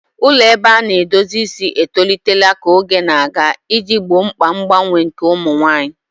Ụlọ ebe a na-edozi isi etolitela ka oge na-aga iji gboo mkpa mgbanwe nke ụmụ nwanyị.